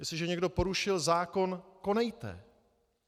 Jestliže někdo porušil zákon, konejte.